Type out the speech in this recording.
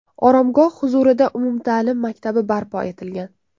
Oromgoh huzurida umumta’lim maktabi barpo etilgan.